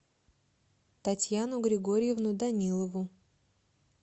татьяну григорьевну данилову